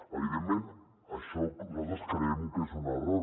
evidentment això nosaltres creiem que és un error